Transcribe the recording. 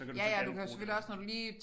Ja ja og du kan selvfølgelig også når du lige